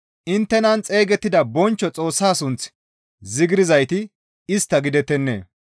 Inttenan xeygettida bonchcho Xoossaa sunth zigirzayti istta gidettennee?